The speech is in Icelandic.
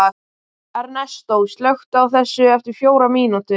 Ernestó, slökktu á þessu eftir fjórar mínútur.